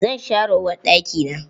Zan share uwarɗakin.